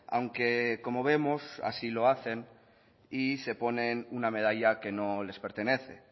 aunque como vemos así lo hacen y se ponen una medalla que no les pertenece